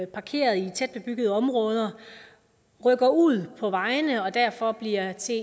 parkeret i tæt bebyggede områder rykker ud på vejene og derfor bliver til